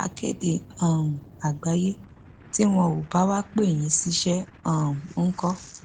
akéde um àgbáyé tí wọn ò bá wàá pè yín ṣiṣẹ um ńkọ